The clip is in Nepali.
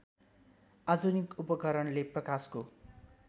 आधुनिक उपकरणले प्रकाशको